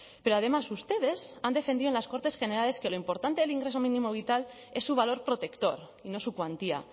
pero además ustedes han defendido en las cortes generales que lo importante del ingreso mínimo vital es su valor protector y no su cuantía